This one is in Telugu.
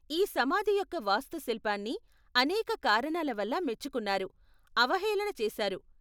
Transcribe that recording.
ఈ సమాధి యొక్క వాస్తుశిల్పాన్ని అనేక కారణాల వల్ల మెచ్చుకున్నారు, అవహేళన చేసారు.